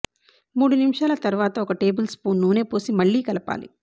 మూడు నిమిషాల తర్వాత ఒక టేబుల్ స్పూను నూనె పోసి మళ్ళీ కలపాలి